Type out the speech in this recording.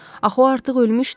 Axı o artıq ölmüşdü.